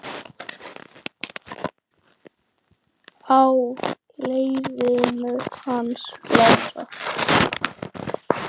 Á leiðinu hans Lása?